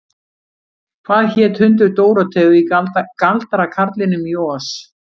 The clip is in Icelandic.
Hvað hét hundur Dórótheu í Galdrakarlinum í Oz?